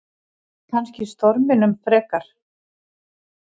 Kannski storminum frekar.